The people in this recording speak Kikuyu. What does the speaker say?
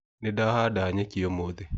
Nĩndahada nyeki ũmũthĩ.